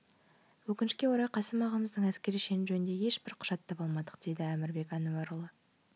өкінішке орай қасым ағамыздың әскери шені жөнінде ешбір құжат таба алмадық дейді әмірбек әнуарұлы